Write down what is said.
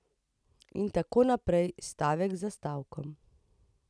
In tako naprej, stavek za stavkom.